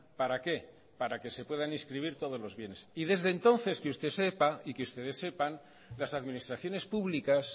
para qué para que se puedan inscribir todos los bienes y desde entonces que usted sepa y que ustedes sepan las administraciones públicas